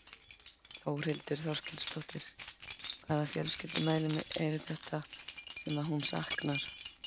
Þórhildur Þorkelsdóttir: Hvaða fjölskyldumeðlimir eru þetta sem að hún saknar?